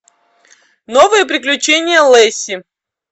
новые приключения лэсси